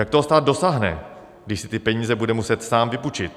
Jak toho stát dosáhne, když si ty peníze bude muset sám vypůjčit?